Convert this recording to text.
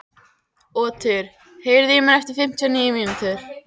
Otur, heyrðu í mér eftir fimmtíu og níu mínútur.